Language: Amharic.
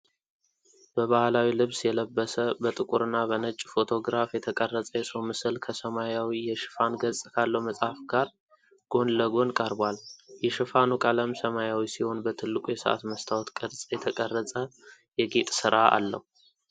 በባህላዊ ልብስ የለበሰ፣ በጥቁርና በነጭ ፎቶግራፍ የተቀረጸ የሰው ምስል ከሰማያዊ የሽፋን ገጽ ካለው መጽሐፍ ጋር ጎን ለጎን ቀርቧል። የሽፋኑ ቀለም ሰማያዊ ሲሆን፣ በትልቁ የሰዓት መስታወት ቅርጽ የተቀረጸ የጌጥ ሥራ አለው።